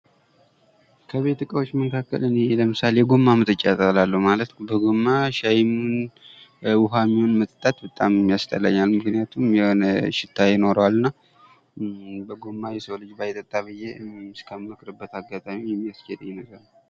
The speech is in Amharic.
ከቤት እቃዎች መካከል እኔ ለምሳሌ የጎማ መጠጫ እጠላለሁ ማለት በጎማ ሻይም ይሁን ውሃም ይሁን መጠጣት በጣም ያስጠለኛል ምክንያቱም የሆነ ሽታ ይኖረዋል እና በጎማ የሰው ልጅ ባይጠጣ ብዬ እስከምመክርበት አጋጣሚ የሚያስከደኝ ነገር ነው ።